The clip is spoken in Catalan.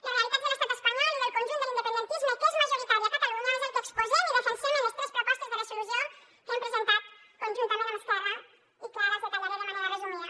les realitats de l’estat espanyol i del conjunt de l’independentisme que és majoritari a catalunya és el que exposem i defensem en les tres propostes de resolució que hem presentat conjuntament amb esquerra i que ara els detallaré de manera resumida